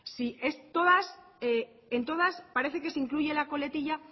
en todas parece que se incluye la coletilla